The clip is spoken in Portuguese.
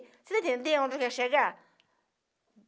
Você entendeu onde eu quero chegar?